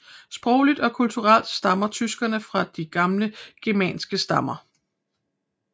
Sprogligt og kulturelt stammer tyskerne fra de gamle germanske stammer